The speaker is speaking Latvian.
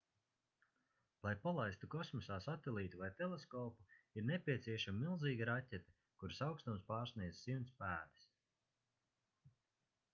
lai palaistu kosmosā satelītu vai teleskopu ir nepieciešama milzīga raķete kuras augstums pārsniedz 100 pēdas